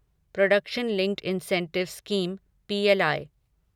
production linked incentive scheme PLI